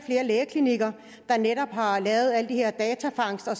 og lægeklinikker der netop har lavet al den her datafangst og